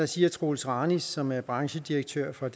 siger troels ranis som er branchedirektør for